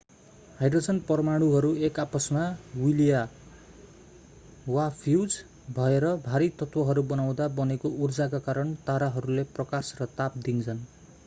Hydrogen परमाणुहरू एक आपसमा विलय वा फ्यूज भएर भारी तत्वहरू बनाउँदा बनेको उर्जाका कारण ताराहरूले प्रकाश र ताप दिन्छन्।